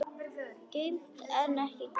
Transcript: Geymt en ekki gleymt